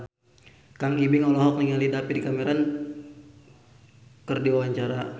Kang Ibing olohok ningali David Cameron keur diwawancara